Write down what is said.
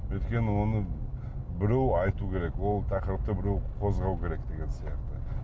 өйткені оны біреу айту керек ол тақырыпты біреу қозғау керек деген сияқты